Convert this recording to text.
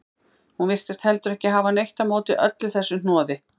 Hún virtist heldur ekki hafa neitt á móti öllu þessu hnoði.